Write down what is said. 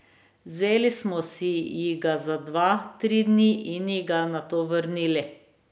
Vzeli smo ji ga za dva, tri dni in ji ga nato vrnili.